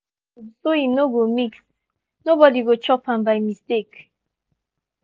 we gree say make we no dey shout late for night for common place.